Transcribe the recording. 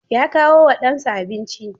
Ya kawo wa ɗansa abinci.